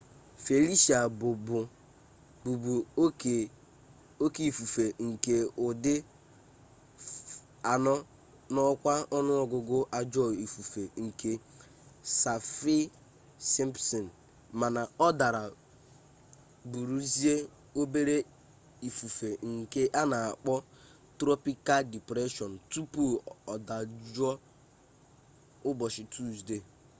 felicia bu bu oke ifufe nke udi 4 na okwa onuogugu ajo ifufe nke saffir-simpson mana o dara buruzia obere ifufe nke ana akpo tropikal depression tupu odajuo ubochi tuzdee